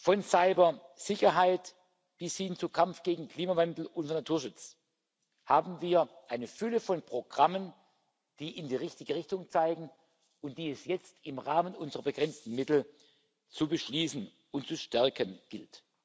von Cybersicherheit bis hin zum Kampf gegen Klimawandel und für Naturschutz haben wir eine Fülle von Programmen, die in die richtige Richtung zeigen und die es jetzt im Rahmen unserer begrenzten Mittel zu beschließen und zu stärken gilt.